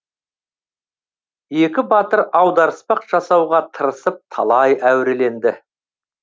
екі батыр аударыспақ жасауға тырысып талай әуреленді